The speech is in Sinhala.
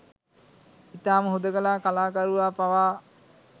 ඉතාම හුදෙකලා කලාකරුවා පවා